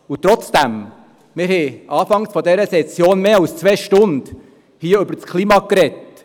Und trotzdem: Wir haben hier am Anfang dieser Session mehr als zwei Stunden über das Klima gesprochen.